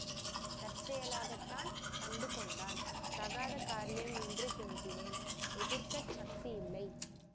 தற்செயலாகத்தான் கண்டுகொண்டான் தகாத காரியம் என்று கெஞ்சினேன் எதிர்க்கச் சக்தி இல்லை